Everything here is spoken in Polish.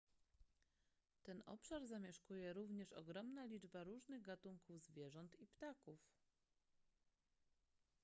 ten obszar zamieszkuje również ogromna liczba różnych gatunków zwierząt i ptaków